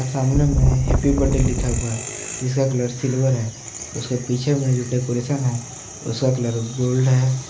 सामने मे happy birthday लिखा हुआ है जिसका कलर सिल्वर है उसके पीछे मे जो डेकोरेशन है उसका कलर गोल्ड है।